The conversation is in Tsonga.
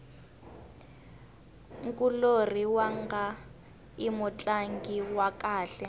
nkulorhi wanga i mutlangi wa kahle